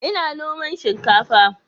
Ina noman shinkafa